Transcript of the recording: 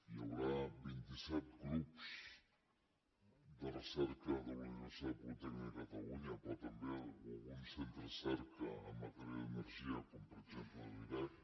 hi haurà vint set grups de recerca de la universitat politècnica de catalunya però també algun centre de recerca en matèria d’energia com per exemple l’irec